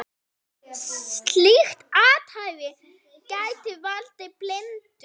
Slíkt athæfi gæti valdið blindu.